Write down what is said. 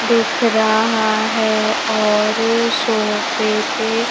दिख रहा है और सोफे पे--